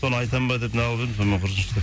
соны айтамын ба деп нағылып едім сонымен құрысыншы деп